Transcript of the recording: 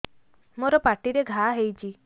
ମୋର ପାଟିରେ ଘା ହେଇଚି